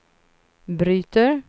bryter